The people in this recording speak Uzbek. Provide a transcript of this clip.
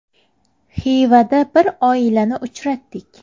Xivada bir oilani uchratdik.